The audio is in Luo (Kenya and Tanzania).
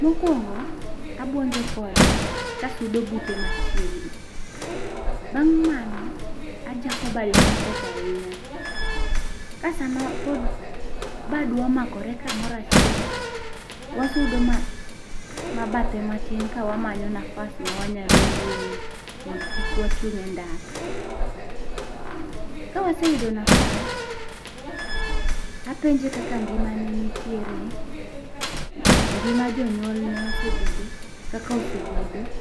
mokuongo, abuinjo kode, ka asudo bute mavchiegni, namg mano ajako bade matek ahin ya. ka sa ma pod badwa omakore ka moro avhiel wasude bathe matin ka wamanyo nafs matin ma wanya wuoyo mondo kik wachung e ndara, ka waseyudo nfas apenje kaka ngima ne nitiere ,ngima jonyuolne osebedo, kaka osebedo